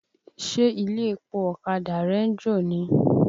Ṣé ilé-epo ọ̀kadà rẹ ń jò ni?